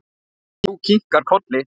Þú kinkar kolli.